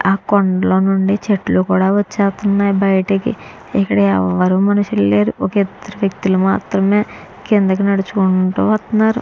ఆ కొండల నుండి చెట్లు కూడా వచ్చేస్తున్నాయి బయటకి ఇక్కడ ఎవరు మనుషులు లేరు ఒక ఇద్దరు వ్యక్తులు మాత్రమే కిందకు నడుచుకుంటూ వస్తున్నారు.